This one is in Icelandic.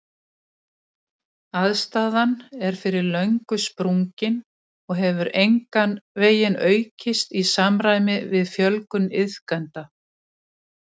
Aðstaðan er fyrir löngu sprungin og hefur engan veginn aukist í samræmi við fjölgun iðkenda.